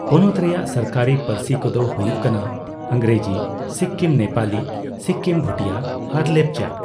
ᱯᱚᱱᱚᱛ ᱨᱮᱭᱟᱜ ᱥᱚᱨᱠᱟᱨᱤ ᱯᱟᱹᱨᱥᱤ ᱠᱚᱫᱚ ᱦᱩᱭᱩᱜ ᱠᱟᱱᱟ ᱤᱝᱨᱮᱡᱤ, ᱥᱤᱠᱠᱤᱢ ᱱᱮᱯᱟᱞᱤ, ᱥᱤᱠᱠᱤᱢ (ᱵᱷᱴᱤᱭᱟ) ᱟᱨ ᱞᱮᱯᱪᱟ ᱾